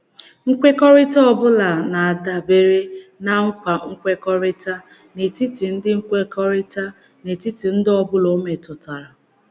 Nkwekọrịta um ọ bụla na - um adabere ná nkwa nkwekọrịta n'etiti ndị nkwekọrịta n'etiti ndị ọ bụla ọ metụtara.